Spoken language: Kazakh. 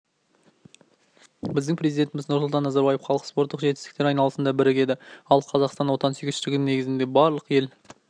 біздің президентіміз нұрсұлтан назарбаев халық спорттық жетістіктер айналасында бірігеді ал қазақстандық отансүйгіштіктің негізінде барлық ел